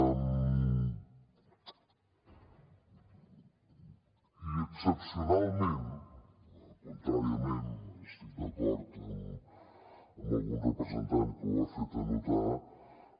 i excepcionalment contràriament estic d’acord amb algun representant que ho ha fet notar